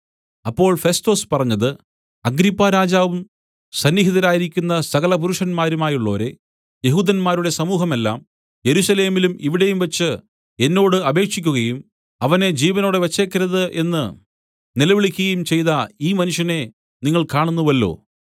അപ്പോൾ ഫെസ്തൊസ് പറഞ്ഞത് അഗ്രിപ്പാരാജാവും സന്നിഹിതരായിരിക്കുന്ന സകല പുരുഷന്മാരുമായുള്ളോരേ യെഹൂദന്മാരുടെ സമൂഹം എല്ലാം യെരൂശലേമിലും ഇവിടെയും വച്ച് എന്നോട് അപേക്ഷിക്കുകയും അവനെ ജീവനോടെ വെച്ചേക്കരുത് എന്ന് നിലവിളിക്കുകയും ചെയ്ത ഈ മനുഷ്യനെ നിങ്ങൾ കാണുന്നുവല്ലോ